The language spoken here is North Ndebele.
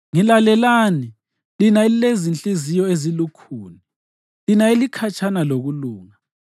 Ngilalelani lina elilezinhliziyo ezilukhuni, lina elikhatshana lokulunga.